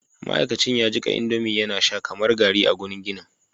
ma'aikacin ya jika indomie yana sha kamar garri a gurin ginin